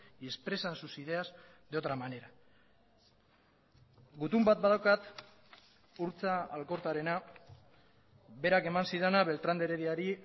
y expresan sus ideas de otra manera gutun bat badaukat urtza alkortarena berak eman zidana beltrán de herediari